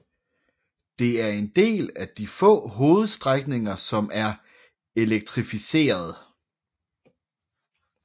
Det er en af de få hovedstrækninger som er elektrificeret